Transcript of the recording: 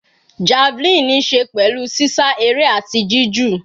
Javelin níí ṣe pẹ̀lú sísá eré àti jí jù.